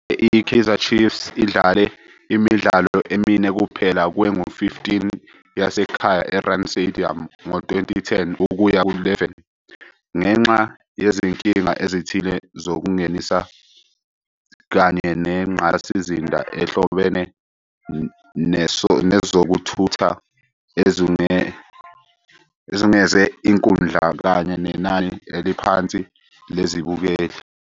I-Kaizer Chiefs idlale imidlalo emine kuphela kwengu-15 yasekhaya e-Rand Stadium ngo-2010 ukuya ku-11, ngenxa yezinkinga ezithile zokungenisa, kanye nengqalasizinda ehlobene nezokuthutha ezungeze inkundla - kanye nenani eliphansi lezibukeli.